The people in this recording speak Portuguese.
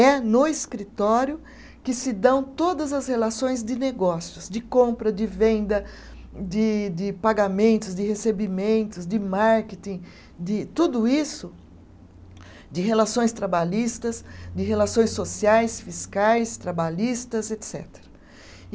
É no escritório que se dão todas as relações de negócios, de compra, de venda, de de pagamentos, de recebimentos, de marketing, de tudo isso, de relações trabalhistas, de relações sociais, fiscais, trabalhistas, etcetera e